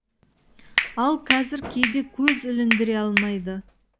ал қазір кейде көз іліндіре алмайды